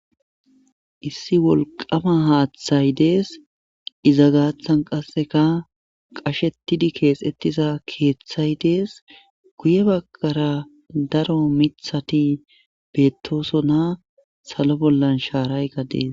Issi wolqama haaththay dees iza gaaththan qasseka qashetidi keexettiza keeththay dees guye baggara daro mithati beettosona salo bollan shaaray gadees